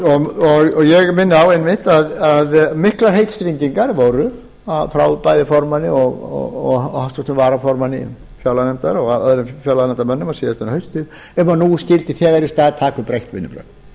og ég minni einmitt á að miklar heitstrengingar voru frá bæði formanni og háttvirtum varaformanni fjárlaganefndar og öðrum fjárlaganefndarmönnum á síðastliðnu hausti um að nú skyldi þegar í stað taka upp breytt vinnubrögð